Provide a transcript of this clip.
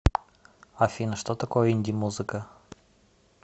афина что такое инди музыка